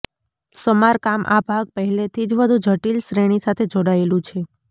સમારકામ આ ભાગ પહેલેથી જ વધુ જટિલ શ્રેણી સાથે જોડાયેલું છે